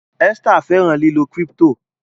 Esther fẹran lilọ crypto